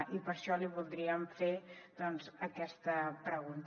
i per això li voldríem fer doncs aquesta pregunta